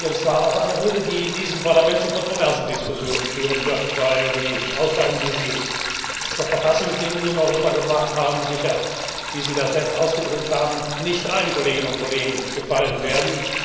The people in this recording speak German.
Es war auch eine Rede, die in diesem Parlament zu kontroversen Diskussionen führen wird, weil die Aussagen, die Sie zur Verfassungsgebung in Europa gemacht haben, sicher wie Sie das selbst ausgedrückt haben nicht allen Kolleginnen und Kollegen gefallen werden.